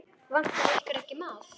Vantar ykkur ekki maðk?